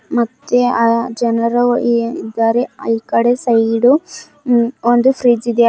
ಮತ್ತೆ ಆ ಜನರು ಇದಾರೆ ಈ ಕಡೆ ಸೈಡು ಹ್ಮ್ಮ್ ಒಂದೂ ಫ್ರಿಡ್ಜ್ ಇದೆ.